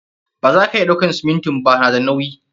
Ba za ka iya ɗauakan siminti ba, na da nauyi.